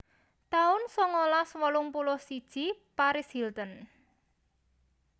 taun songolas wolung puluh siji Paris Hilton